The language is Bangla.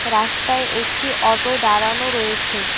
রাস্তায় একটি অটো দাঁড়ানো রয়েছে।